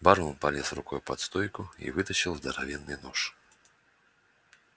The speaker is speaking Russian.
бармен полез рукой под стойку и вытащил здоровенный нож